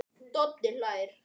Doddi hlær.